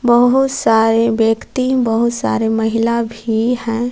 बहुत सारे व्यक्ति बहुत सारे महिला भी हैं।